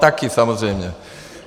Také, samozřejmě.